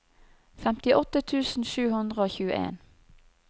femtiåtte tusen sju hundre og tjueen